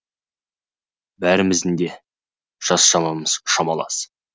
бәріміздің де жас шамамыз шамалас